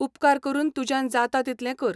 उपकार करून तुज्यान जाता तितलें कर.